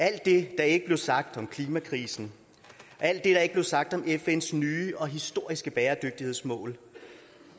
alt det der ikke blev sagt om klimakrisen alt det der ikke blev sagt om fn’s nye og historiske bæredygtighedsmål